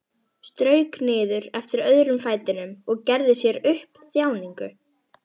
Strauk niður eftir öðrum fætinum og gerði sér upp þjáningu.